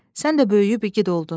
Sən də böyüyüb igid oldun.